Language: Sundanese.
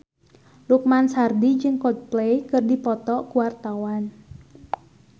Lukman Sardi jeung Coldplay keur dipoto ku wartawan